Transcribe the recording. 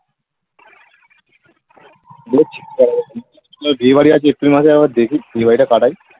বিয়ে বাড়ি আছে এপ্রিল মাসে আবার দেখি বিয়ে বাড়ি টা কাটায়